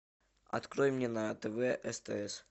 открой мне на тв стс